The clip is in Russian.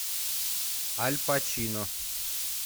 аль пачино